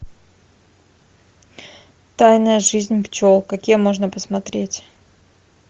тайная жизнь пчел какие можно посмотреть